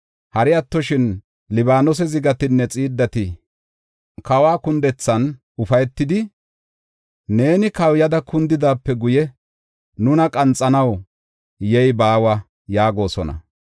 Hari attoshin, Libaanose zigatinne xiiddati kawa kundethan ufaytidi, “Neeni kawuyada kundidaape guye, nuna qanxanaw yey baawa” yaagosona.